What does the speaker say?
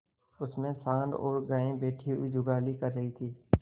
उनमें सॉँड़ और गायें बैठी हुई जुगाली कर रही थी